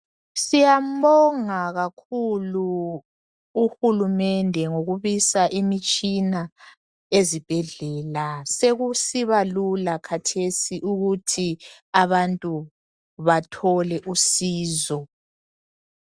Siyambonga kakhulu uhulumende ngokubisa imitshina ezibhedlela, sekusiba lula khathesi ukuthi abantu bathole usizo.